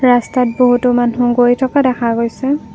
ৰাস্তাত বহুতো মানুহ গৈ থকা দেখা গৈছে।